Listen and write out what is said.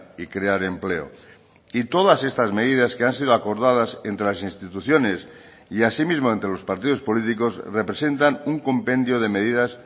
y crear empleo y todas estas medidas que han sido acordadas entre las instituciones y asimismo entre los partidos políticos representan un compendio de medidas